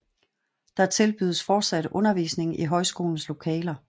Der tilbydes fortsat undervisning i højskolens lokaler